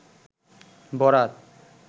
বরাত